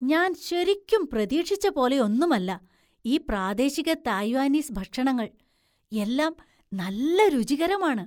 ഞാൻ ശരിക്കും പ്രതീക്ഷിച്ച പോലെയൊന്നുമല്ല ഈ പ്രാദേശിക തായ്വാനീസ് ഭക്ഷണങ്ങൾ, എല്ലാം നല്ല രുചികരമാണ്.